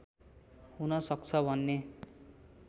हुन सक्छ भन्ने